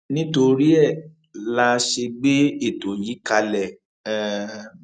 nítorí ẹ la ṣe gbé ètò yìí kalẹ um